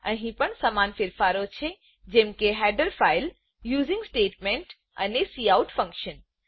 અહી પણ સમાન ફેરફારો છે જેમ કે હેડર ફાઈલ યુઝિંગ સ્ટેટમેન્ટ અને કાઉટ ફંક્શન